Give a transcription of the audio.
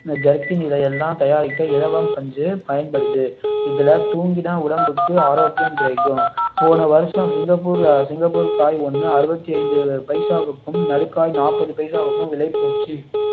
jerkin இதையெல்லாம் தயாரிக்க இலவம் பஞ்சு பயன்படுது இதுல தூங்கினால் உடம்புக்கு ஆரோக்கியம் கிடைக்கும் போன வருஷம் சிங்கப்பூர் சிங்கப்பூர் காய் ஒன்னு அறுபத்து ஐந்து பைசாவிற்கும் நடுக்காய் நாப்பது பைசாவுக்கும் விலை போச்சு